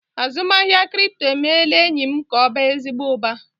Azụmahịa kripto emeela enyi m ka ọ baa ezigbo uba.